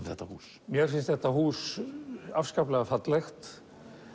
þetta hús mér finnst þetta hús afskaplega fallegt